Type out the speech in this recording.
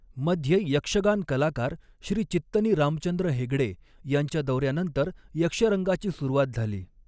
मध्ये यक्षगान कलाकार श्री चित्तनी रामचंद्र हेगडे यांच्या दौऱ्यानंतर यक्षरंगाची सुरुवात झाली.